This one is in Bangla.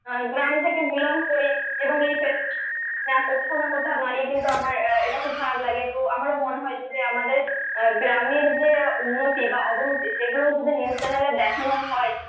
আহ গ্রাম থেকে belong করি এবং এই phase টি না কোথাও না কোথাও দাঁড়িয়ে কিন্তু আমার আহ এটা খুব খারাপ লাগে তো আমারও মনে হয় যদি আমাদের গ্রামের যে উন্নতি বা অবনতি সেগুলোও যদি new channel দেখানো হয়